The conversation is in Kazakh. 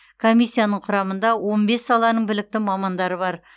комиссияның құрамында он бес саланың білікті мамандары бар